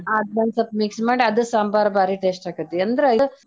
ಅದ್ನೊಂದ್ ಸ್ವಲ್ಪ mix ಮಾಡಿ ಅದ್ ಸಾಂಬಾರ್ ಭಾರಿ taste ಆಕ್ಕೇತಿ .